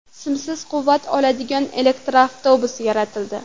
Simsiz quvvat oladigan elektr avtobus yaratildi.